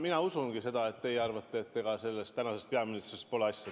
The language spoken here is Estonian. Mina usungi, et teie arvate, et ega tänasest peaministrist pole asja.